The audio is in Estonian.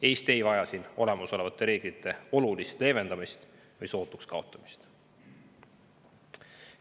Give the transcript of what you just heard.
Eesti ei vaja siin olemasolevate reeglite olulist leevendamist või sootuks kaotamist.